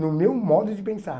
No meu modo de pensar.